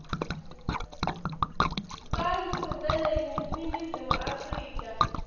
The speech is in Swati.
bantfu beleningizimu afrika